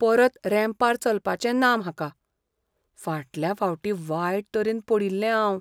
परत रॅम्पार चलपाचें ना म्हाका. फाटल्या फावटी वायट तरेन पडिल्लें हांव.